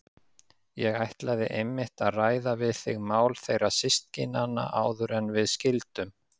Ég ætlaði einmitt að ræða við þig mál þeirra systkinanna áður en við skildum.